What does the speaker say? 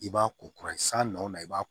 I b'a ko kura san nɔ i b'a